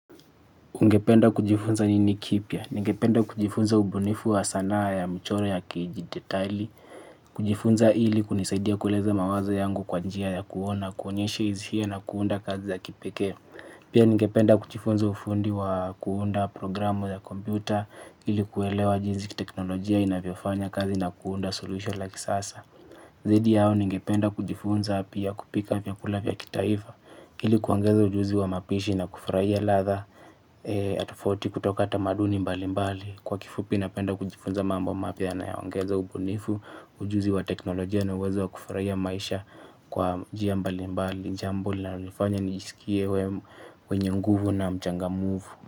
Ningependa kujifunza nini kipya. Ningependa kujifunza ubunifu wa sanaa ya mchoro ya kidijitali. Kujifunza ili kunisaidia kuleza mawazo yangu kwa njia ya kuona, kuonyesha hisia na kuunda kazi za kipekee. Pia ningependa kujifunza ufundi wa kuunda programu ya kompyuta ili kuelewa jinsi teknolojia inavyofanya kazi na kuunda solution like sasa. Zaidi ya hayo ningependa kujifunza pia kupika vyakula vya kitaifa ili kuongeza ujuzi wa mapishi na kufurahia ladha. Tofauti kutoka tamaduni mbali mbali kwa kifupi napenda kujifunza mambo mapya na yayoongeza ubunifu. Ujuzi wa teknolojia na uwezo wa kufurahia maisha kwa njia mbali mbali ni jambo inalonifanya nisikie wenye nguvu na mchangamfu.